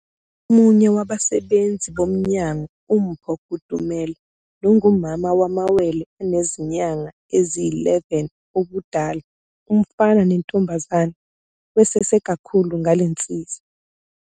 Omunye wabasebenzi bomnyango uMpho Kutumela nongumama wamawele anezinyanga eziyi-11 ubudala, umfana nentombazane, wesese kakhulu ngalensiza.